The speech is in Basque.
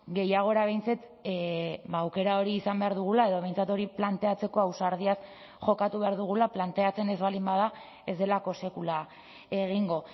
gehiagora behintzat aukera hori izan behar dugula edo behintzat hori planteatzeko ausardiaz jokatu behar dugula planteatzen ez baldin bada ez delako sekula egingo